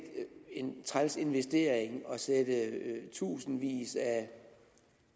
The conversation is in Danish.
træls investering at sætte i tusindvis af